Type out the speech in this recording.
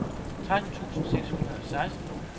tretten tusind seks hundrede og seksten